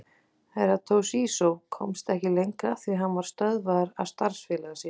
Herra Toshizo komst ekki lengra því hann var stöðvaður af starfsfélaga sínum.